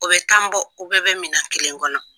O bɛ tan bɔ u bɛɛ bɛ minan kelen kɔnɔ.